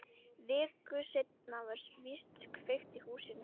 Viku seinna var víst kveikt í húsinu.